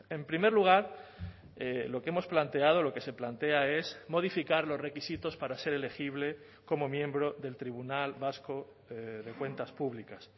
en primer lugar lo que hemos planteado lo que se plantea es modificar los requisitos para ser elegible como miembro del tribunal vasco de cuentas públicas